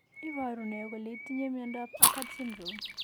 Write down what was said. Iporu ne kole itinye miondap Achard syndrome?